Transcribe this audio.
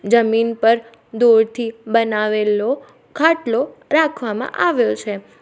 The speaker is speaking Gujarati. જમીન પર દૂરથી બનાવેલો ખાટલો રાખવામાં આવ્યો છે.